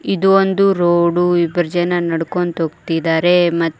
ಇದು ಒಂದು ರೋಡು ಇಬ್ಬರು ಜನ ನಡ್ಕೊಂಡು ಹೋಗ್ತಿದ್ದಾರೆ ಮತ್--